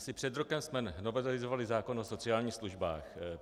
Asi před rokem jsme novelizovali zákon o sociálních službách.